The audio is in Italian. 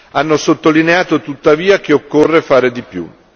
Hanno sottolineato tuttavia che occorre fare di più.